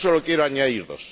Solo quiero añadir dos.